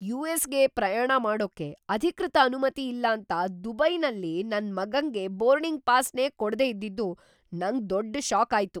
ಯು.ಎಸ್.ಗೆ ಪ್ರಯಾಣ ಮಾಡೋಕೆ ಅಧಿಕೃತ ಅನುಮತಿ ಇಲ್ಲಾಂತ ದುಬೈಯಲ್ಲಿ ನನ್ ಮಗಂಗೆ ಬೋರ್ಡಿಂಗ್ ಪಾಸ್‌ನೇ ಕೊಡ್ದೇ ಇದ್ದಿದ್ದು ನಂಗ್ ದೊಡ್ಡ್‌ ಷಾಕ್‌ ಆಗಿತ್ತು.